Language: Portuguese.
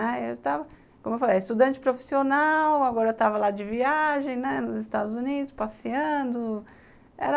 Né, eu estava, como eu falei, estudante profissional, agora estava lá de viagem, né, nos Estados Unidos, passeando.